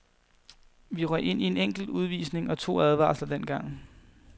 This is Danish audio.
Vi røg ind i en enkelt udvisning og to advarsler dengang.